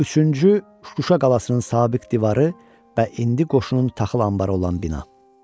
Üçüncü Şuşa qalasının sabiq divarı və indi qoşunun taxıl anbarı olan bina.